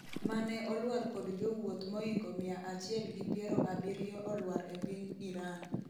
mane olwar kod jowuoth moingo mia achiel gi piero abiriyo olwar e piny Iran